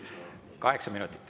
Kaheksa minutit.